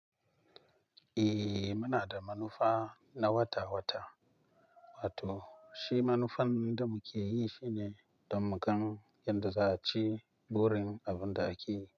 Eh, muna da manufa na wata-wata, wato shi manufan da muke yi shine don mu gano yadda za'a ce burin abin da ake yi.